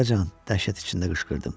Atacan, dəhşət içində qışqırdım.